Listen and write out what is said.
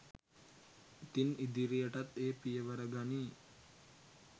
ඉතින් ඉදිරියටත් ඒ පියවර ගනියි